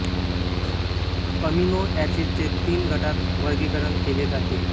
amino acid चे तीन गटात वर्गीकरण केले जाते